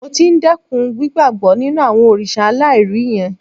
Mo ti ń dẹ́kun gbígbàbọ́ nínú àwọn òrìṣà aláìrí yẹn